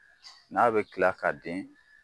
N'a bɛ kila ka den.